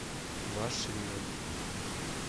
ваш риэлтор